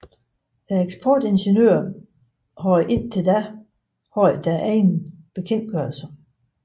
Eksportingeniørerne havde indtil da haft deres egen bekendtgørelse